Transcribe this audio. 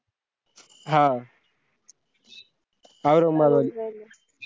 हा